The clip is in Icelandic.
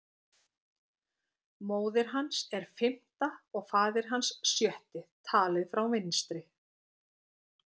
Móðir hans er fimmta og faðir hans sjötti, talið frá vinstri.